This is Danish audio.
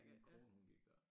Min kone hun gik dér